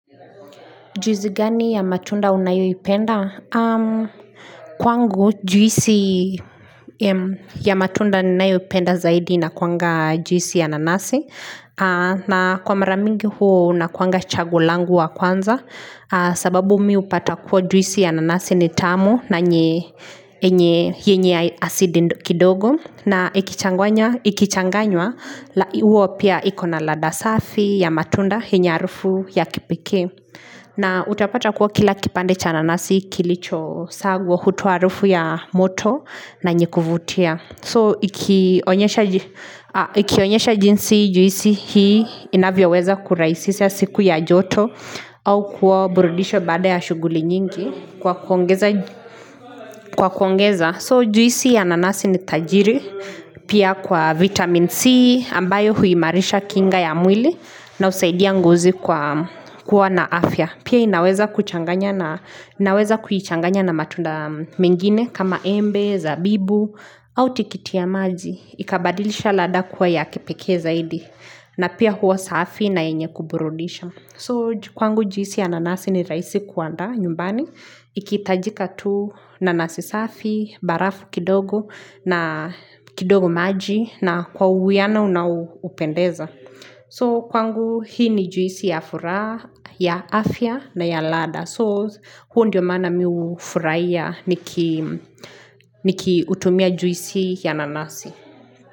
Juisi gani ya matunda unayoipenda? Kwangu juisi ya matunda ninayopenda zaidi inakuanga juisi ya nanasi na kwa mara mingi huo unakuanga chaguo langu wa kwanza sababu mi hupata kuwa juisi ya nanasi ni tamu na yenye asidi kidogo na ikichanganywa huwa pia ikona ladha safi ya matunda yenye harufu ya kipikee na utapata kuwa kila kipande cha nanasi kilichosagwa hutoa harufu ya moto na yenye kuvutia So ikionyesha jinsi juisi hii inavyoweza kurahisisha siku ya joto au kuwa burudisho baada ya shuguli nyingi kwa kuongeza So juisi ya nanasi ni tajiri pia kwa vitamini C ambayo huimarisha kinga ya mwili na husaidia ngozi kwa kuwa na afya Pia inaweza kuchanganya na matunda mingine kama embe, zabibu, au tikiti ya maji. Ikabadilisha ladha kuwa ya kipekee zaidi. Na pia huwa safi na yenye kuburudisha. So kwangu juisi ya nanasi ni rahisi kuandaa nyumbani. Ikihitajika tu nanasi safi, barafu kidogo na kidogo maji na kwa uwiano unaopendeza. So kwangu hii ni juisi ya afya na ya ladha So huo ndio maana mi hufurahia nikiutumia juisi ya nanasi.